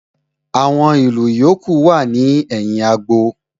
Àwọn ìlù yòókù wà ní ẹ̀yìn agbo